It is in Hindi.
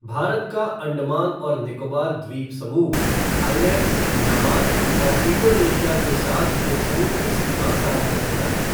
भारत का अंडमान और निकोबार द्वीप समूह थाईलैंड, म्यांमार और इंडोनेशिया के साथ एक समुद्री सीमा साझा करता है।